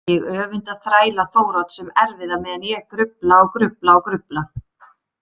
Ég öfunda þræla Þórodds sem erfiða meðan ég grufla og grufla og grufla.